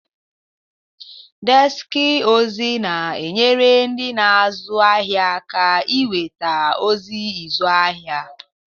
Deski ozi na-enyere ndị na-azụ ahịa aka inweta ozi ịzụ ahịa.